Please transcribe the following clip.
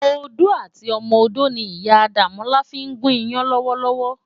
Odó àti ọmọ odó ni Iyá Damola fin gún iyàn lòwòlòwò.